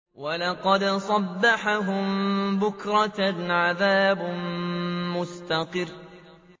وَلَقَدْ صَبَّحَهُم بُكْرَةً عَذَابٌ مُّسْتَقِرٌّ